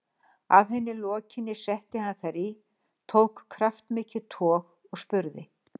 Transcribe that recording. Að henni lokinni setti hann þær í, tók kraftmikið tog og spurði